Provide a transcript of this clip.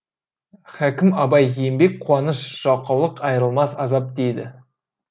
хәкім абай еңбек қуаныш жалқаулық айырылмас азап дейді